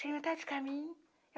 Sei metade do caminho.